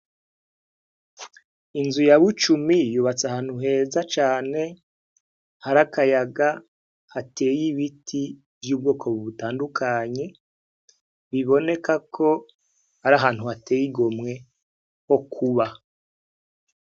Inzu ya Bucumi yubatse ahantu heza cane hari akayaga hateye ibiti vy'ubwoko butandukanye biboneka ko ari ahantu hateye igomwe ho kuba.